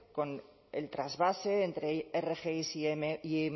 con el trasvase entre rgi e